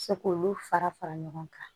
Se k'olu fara fara ɲɔgɔn kan